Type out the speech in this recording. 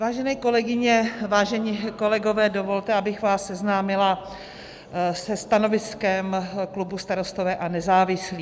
Vážené kolegyně, vážení kolegové, dovolte, abych vás seznámila se stanoviskem klubu Starostové a nezávislí.